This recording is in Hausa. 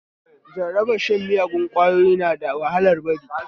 Jarabar shan miyagun ƙwayoyi na da wahalar bari